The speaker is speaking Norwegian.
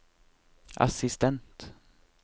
assistent